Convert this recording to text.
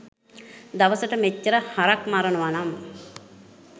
දවසට මෙච්චර හරක් මරනවනම්